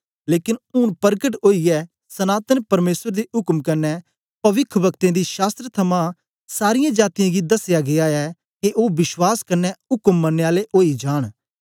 लेकन ऊन परकट ओईयै सनातन परमेसर दे उक्म कन्ने पविख्ब्कतें दी शास्त्र थमां सारीयें जातीयें गी दसया गीया ऐ के ओ विश्वास कन्ने उक्म मनने आले ओई जान